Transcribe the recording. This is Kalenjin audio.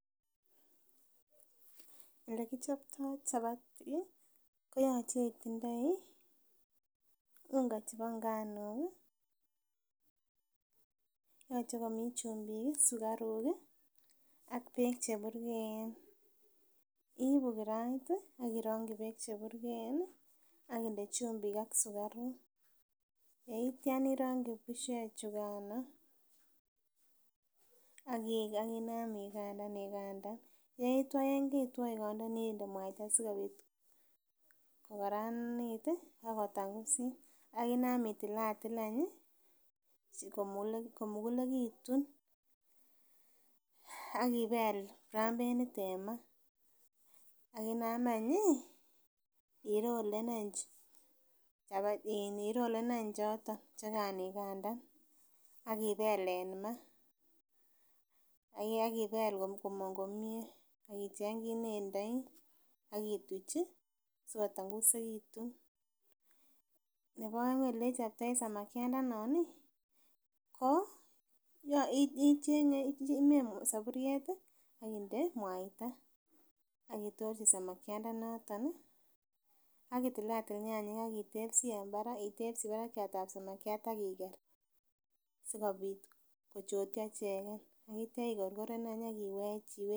Elekichoptoo chapati koyoche itindoi unga chebo nganuk ih yoche komii chumbik ih, sukaruk ih ak beek cheburgeen, iibu kirait ih ak beek cheburgeen ih ak inde chumbik ak sukaruk. Ye itya irongyi bushek chukano ak inam igandan igandan ak yetwoo ye keitwoo igondonii inde mwaita sikobit kokaranit ih akotangusit akinam itilatil any ih komugulekitun akibel brambenit en ma akinam any ih irolen any choton che kaan igandan ak ibel en ma ak ibel komong komie ak icheng kit nendoi ak ituch ih sikotangusekitun nebo oeng elechoptoi samakiandanon ih ko icheng'e soburiet ak inde mwaita ak itorchi samakiandanoton ih ak itil atil nyanyik ak itebsii en barak itebsii barakiat ab samakiat akiker sikobit kochotyo icheken ak itya ikorkoren any ak iwech iwe...